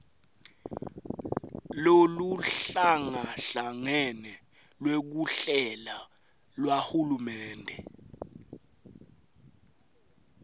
loluhlangahlangene lwekuhlela lwahulumende